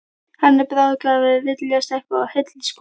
Hann er bráðgáfaður, viljasterkur og heill í skoðunum.